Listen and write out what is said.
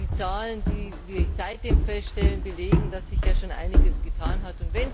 Die Zahlen, die wir seitdem feststellen, belegen, dass sich schon einiges getan hat.